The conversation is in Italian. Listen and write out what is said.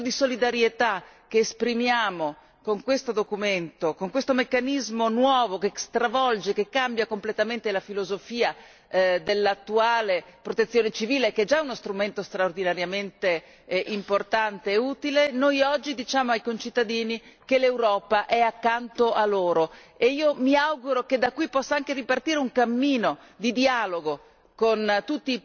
Noi da questo senso di solidarietà che esprimiamo con questo documento, con questo meccanismo nuovo che stravolge, che cambia completamente la filosofia dell'attuale protezione civile, che è già uno strumento straordinariamente importante e utile, noi oggi diciamo ai concittadini che l'Europa è accanto a loro e mi auguro che da qui possa anche ripartire un cammino di dialogo